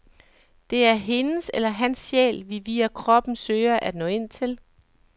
Det er hendes eller hans sjæl, vi via kroppen søger at nå ind til.